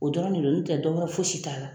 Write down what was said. O dɔrɔn de don n tɛ dɔwɛrɛ fosi t'a la